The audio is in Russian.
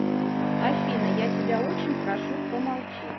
афина я тебя очень прошу помолчи